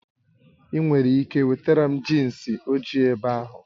Ị nwere ike wetara m jinsi ojii ebe ahụ?